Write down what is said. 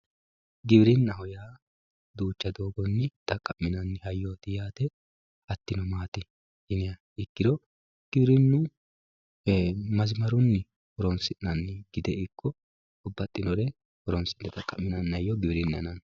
Giwirinaho yaa duucha dooogoni xaqaminani hayyoti yaate hatino maati yiniha ikiro giwirinu masmaruni horonsinani gidde iko babaxinore hayyo horonsinanire giwirinaho yaate